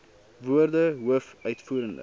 woorde hoof uitvoerende